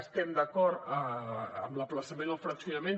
estem d’acord amb l’ajornament o el fraccionament